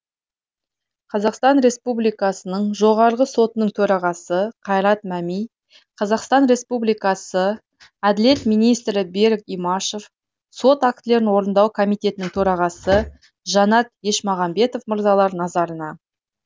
қазақстан республикасы жоғарғы сотының төрағасы қайрат мәми қазақстан республикасы әділет министрі берік имашев сот актілерін орындау комитетінің төрағасы жанат ешмағамбетов мырзалар назарына